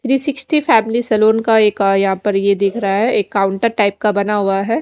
री sixty family salon का एक यहाँ पर यह दिख रहा है एक काउन्टर टाइप का बना हुआ है।